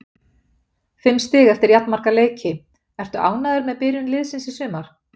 Fimm stig eftir jafnmarga leiki, ertu ánægður með byrjun liðsins í sumar?